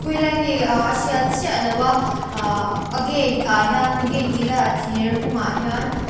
khawilai nge ahh a hriat chiah loh a ahh a gate ah hian gate ti ila a thir hung ah hian--